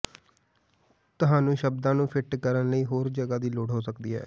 ਤੁਹਾਨੂੰ ਸ਼ਬਦਾਂ ਨੂੰ ਫਿੱਟ ਕਰਨ ਲਈ ਹੋਰ ਜਗ੍ਹਾ ਦੀ ਲੋੜ ਹੋ ਸਕਦੀ ਹੈ